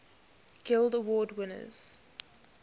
guild award winners